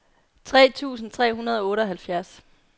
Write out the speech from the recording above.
tre tusind tre hundrede og otteoghalvfjerds